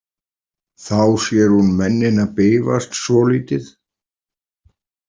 Þá sér hún mennina bifast svolítið.